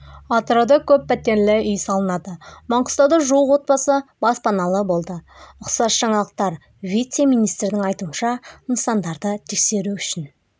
атырауда көппәтерлі үй салынады маңғыстауда жуық отбасы баспаналы болды ұқсас жаңалықтар вице-министрдің айтуынша нысандарды тексеру үшін